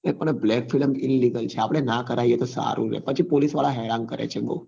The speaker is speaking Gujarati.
એ black filmillegal છે આપડે નાં કરાવીએ તો સારું રે પછી police વાળા હેરાન કરે છે બઉ